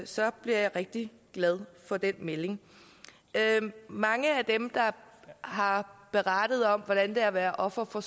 så bliver jeg rigtig glad for den melding mange af dem der har berettet om hvordan det er at være offer for